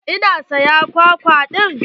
Eh na saya kwakwa ɗin.